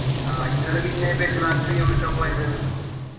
ആഹ് ഇങ്ങൾ പിന്നെ പെരുന്നാക്ക് എവിട്ക്കാ പോയത്